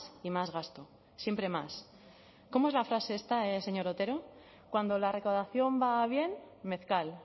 y más gasto siempre más cómo es la frase esta señor otero cuando la recaudación va bien mezcal